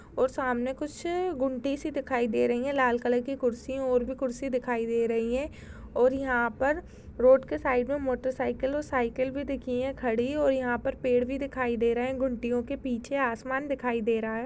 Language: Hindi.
और सामने कुछ गुंडी सी दिखाई दे रही है लाल कलर की कुर्सी और भी कुर्सी दिखाई दे रही है और यहाँ पर रोड के साइड में मोटर साइकिल और साइकिल भी दिखी है खड़ी और यहाँ पर पेड़ भी दिखाई दे रहे है गुंटियों के पीछे आसमान दिखाई दे रहा है।